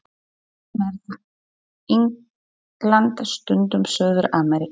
Stundum er það England, stundum Suður-Ameríka.